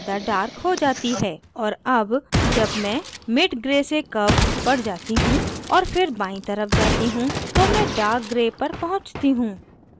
और अब जब मैं mid gray से कर्व पर जाती हूँ और फिर बायीं तरफ जाती हूँ तो मैं dark gray पर पहुँचती हूँ